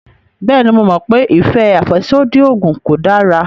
Bẹ́ẹ̀ni, mo mọ̀ pé ìfẹ́ àfẹ́sódì oògùn kò dára